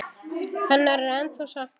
Hennar er ennþá saknað.